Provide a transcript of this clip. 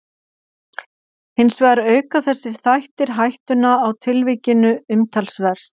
Hins vegar auka þessir þættir hættuna á tilvikinu umtalsvert.